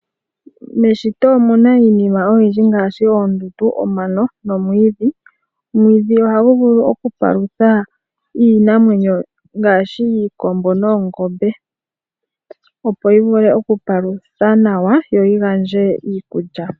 Meshiti omuna iinima oyindji ngaashi oondundu, omano nomwiidhi, omwiidhi ohagu vulu oku palutha iinamwenyo ngaashi iikombo noongombe opo yi vule oku palutha nawa yo yi gandje iikulya.